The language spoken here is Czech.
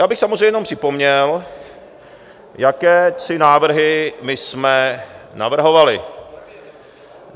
Já bych samozřejmě jenom připomněl, jaké tři návrhy my jsme navrhovali.